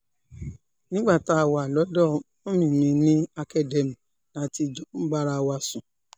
nígbà tá a wà lọ́dọ̀ mummy mi ní academy la ti jọ ń bára wa sùn